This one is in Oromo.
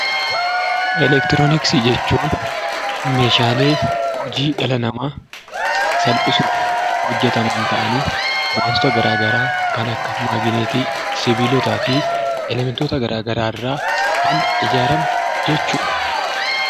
Elektirooniksii jechuun meeshaalee hojii dhala namaa salphisuuf hojjetaman ta'anii wantota garaa garaa kan akka magineetii, sibiilotaa fi elementoota garaa garaa irraa kan ijaarame jechuudha.